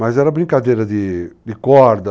Mas era brincadeira de corda,